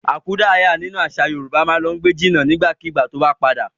Akúdàáyá nínú àṣà Yorùbá ma lọ gbé jìnà nígbàkigbà tó bá padà.